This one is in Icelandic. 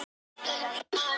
Sem fann upp vináttu og ást